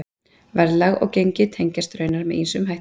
Verðlag og gengi tengjast raunar með ýmsum hætti.